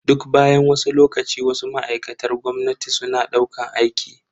Duk bayan wasu lokaci, Wasu ma'aikatar gwamnati suna daukan aiki.